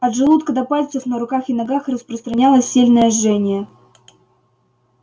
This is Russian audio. от желудка до пальцев на руках и ногах распространялось сильное жжение